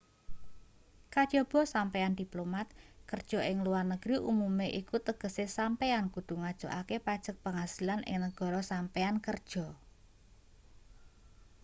kajaba sampeyan diplomat kerja ing luar negeri umume iku tegese sampeyan kudu ngajokake pajek penghasilan ing negara sampeyan kerja